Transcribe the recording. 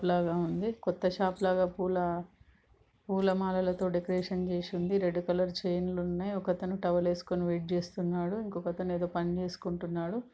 లాగా ఉంది. కొత్త షాప్ లాగా పూల-పూల మాలలతో డెకరేషన్ చేసి ఉంది. రెడ్ కలర్ చైన్లు న్నాయి. ఒక అతను టవల్ వేస్కొని వెయిట్ చేస్తున్నాడు .ఇంకో అతను ఏదో పని చేసుకుంటున్నాడు.